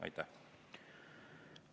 Aitäh!